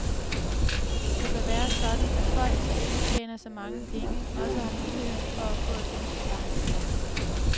Det bør være sådan, at folk, der ikke tjener så mange penge, også har muligheden for at få et ønskebarn, siger han.